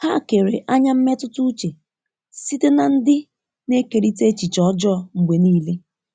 Ha kere anya mmetụta uche site na ndị na-ekerịta echiche ọjọọ mgbe niile.